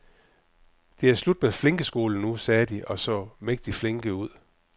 Det er slut med flinkeskolen nu, sagde de, og så mægtig flinke ud.